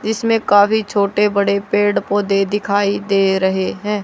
जिसमें काफी छोटे बड़े पेड़ पौधे दिखाई दे रहे हैं।